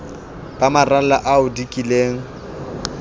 ba maralla a o dikileng